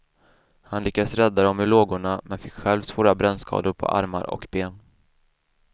Han lyckades rädda dem ur lågorna, men fick själv svåra brännskador på armar och ben.